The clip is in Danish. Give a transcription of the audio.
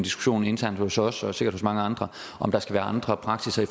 diskussion internt hos os og sikkert hos mange andre om der skal være andre praksisser i